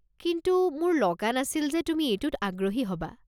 কিন্তু মোৰ লগা নাছিল যে তুমি এইটোত আগ্ৰহী হ'বা।